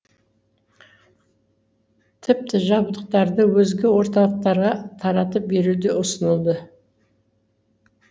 тіпті жабдықтарды өзге орталықтарға таратып беру де ұсынылды